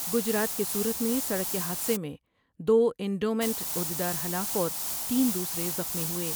گجرات کے سورت میں سڑک کے حادثہ میں دو انڈومنٹ عہد یدار ہلاک اور تین دوسرے زخمی ہوئے ۔